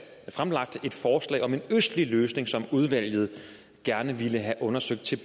fremlagt et forslag om en østlig løsning som udvalget gerne ville have undersøgt til